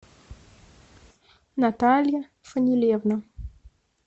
наталья фанилевна